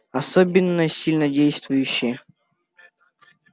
особенно сильнодействующие